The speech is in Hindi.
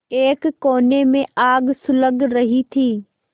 एक कोने में आग सुलग रही थी